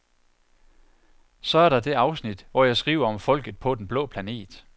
Så er der det afsnit, hvor jeg skriver om folket på den blå planet.